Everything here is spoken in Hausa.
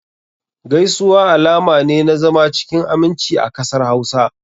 Gaisuwa alama ne na zama cikin aminci a kasar Hausa.